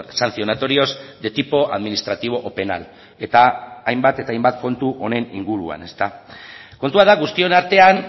sancionatorios de tipo administrativo o penal eta hainbat eta hainbat kontu honen inguruan kontua da guztion artean